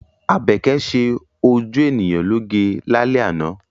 Àbẹ́kẹ́ ṣe ojú ènìyàn lóge lálẹ́ àná.